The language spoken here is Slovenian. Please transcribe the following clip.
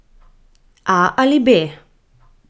A ali B?